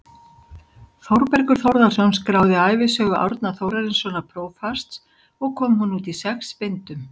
Þórbergur Þórðarson skráði ævisögu Árna Þórarinssonar prófasts og kom hún út í sex bindum.